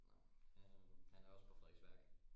Nå han han er også på Frederiksværk